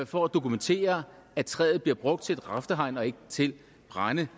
for at dokumentere at træet bliver brugt til et raftehegn og ikke til brænde